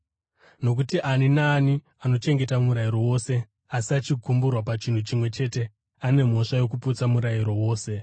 Nokuti ani naani anochengeta murayiro wose asi achigumburwa pachinhu chimwe chete ane mhosva yokuputsa murayiro wose.